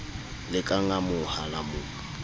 le ka ngamoha la mo